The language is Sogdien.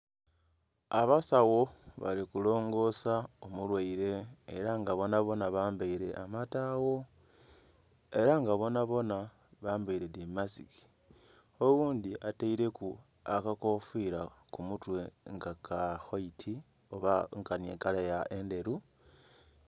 Abasawo balikulongosa omulwaire era nga bonabona bambaire amatagho era nga bonabona bambaire dhimasiki oghundhi ataireku akakofira kumutwe nga kawaiti oba nkani ekala endheru.